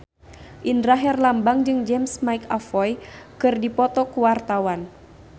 Indra Herlambang jeung James McAvoy keur dipoto ku wartawan